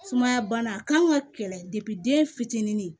Sumaya bana a kan ka kɛlɛ den fitinin